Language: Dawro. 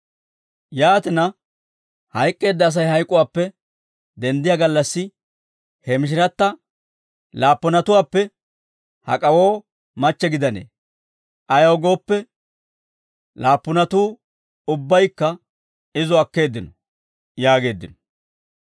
Yaatina, hayk'k'eedda Asay hayk'uwaappe denddiyaa gallassi he mishiratta laappunatuwaappe hak'awoo machche gidanee? Ayaw gooppe, laappunatuu ubbaykka izo akkeeddino» yaageeddino.